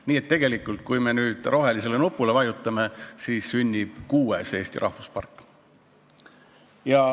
Nii et tegelikult, kui me nüüd rohelisele nupule vajutame, siis sünnib kuues Eesti rahvuspark.